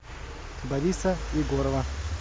бориса егорова